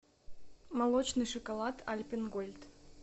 молочный шоколад альпен гольд